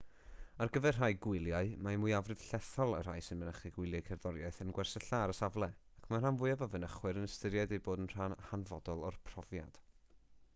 ar gyfer rhai gwyliau mae mwyafrif llethol y rhai sy'n mynychu gwyliau cerddoriaeth yn gwersylla ar y safle ac mae'r rhan fwyaf o fynychwyr yn ystyried ei bod yn rhan hanfodol o'r profiad